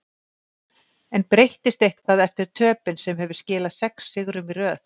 En breyttist eitthvað eftir töpin sem hefur skilað sex sigrum í röð?